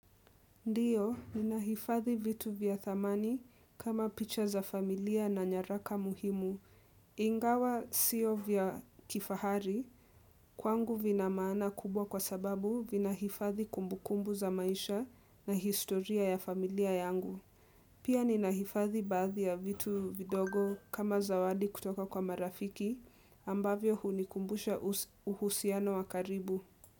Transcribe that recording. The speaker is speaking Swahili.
Ndiyo, ninaifadhi vitu vya thamani kama picha za familia na nyaraka muhimu. Ingawa sio vya kifahari, kwangu vina maana kubwa kwa sababu vinahifathi kumbukumbu za maisha na historia ya familia yangu. Pia ninahifadhi baadi ya vitu vidogo kama zawadi kutoka kwa marafiki ambavyo hunikumbusha uhusiano wa karibu.